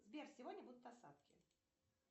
сбер сегодня будут осадки